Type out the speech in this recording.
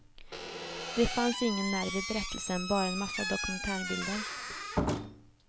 Det fanns ingen nerv i berättelsen, bara en massa dokumentärbilder.